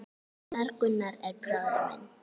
Gunnar, Gunnar er bróðir minn.